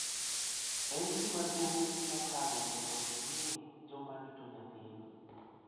En gima duong� mokalo mondo ing�e joma rito nyathini.